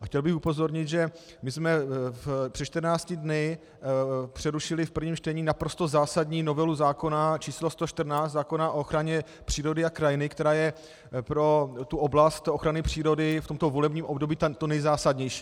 A chtěl bych upozornit, že my jsme před 14 dny přerušili v prvním čtení naprosto zásadní novelu zákona č. 114, zákona o ochraně přírody a krajiny, která je pro tu oblast ochrany přírody v tomto volebním období to nejzásadnější.